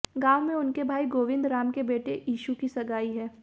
गांव में उनके भाई गोविंद राम के बेटे ईशू की सगाई है